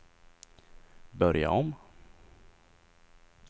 börja om